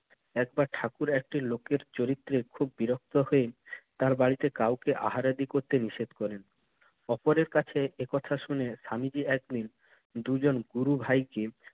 একবার ঠাকুর একটি লোকের চরিত্রে খুব বিরক্ত হয়ে তার বাড়িতে কাউকে আহারাদি করতে নিষেধ করেন। অপরের কাছে এ কথা শুনে স্বামীজি একদিন দুজন গুরু ভাইকে